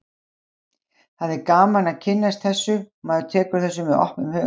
Það er gaman að kynnast þessu og maður tekur þessu með opnum huga.